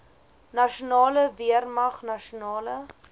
nasionale weermag nasionale